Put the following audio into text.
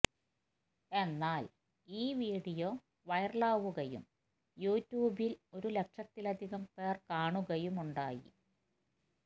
എന്നാല് ഈ വീഡിയോ വൈറലാവുകയും യൂ ട്യൂബില് ഒരു ലക്ഷത്തിലധികം പേര് കാണുകയുമുണ്ടായി